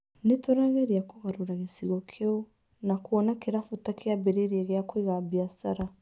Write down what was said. Nĩ tũrageria kũgarũra gĩcigo kĩu na kuona kĩrabu ta kĩabĩrĩria kĩa guĩka biacara.